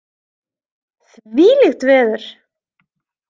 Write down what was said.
Þvílíkt veður!